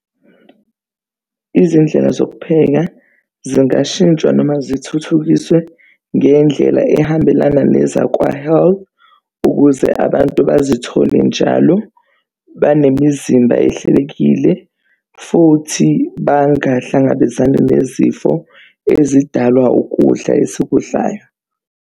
Izindlela zokupheka zingashintshwa noma zithuthukiswe ngendlela ehambelana nezakwa-Health, ukuze abantu bazithole njalo banemizimba ehlelekile futhi bangahlangabezani nezifo ezidalwa ukudla esikudlayo.